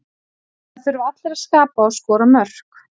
Það þurfa allir að skapa og skora mörk.